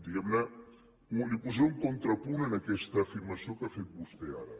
diguem ne li posaré un contrapunt en aquesta afirmació que ha fet vostè ara